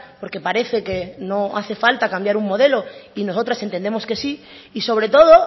porque parece que no hace falta cambiar un modelo y nosotras entendemos que sí y sobre todo